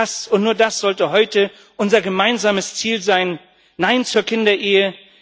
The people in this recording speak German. Das und nur das sollte heute unser gemeinsames Ziel sein Nein zur Kinderehe!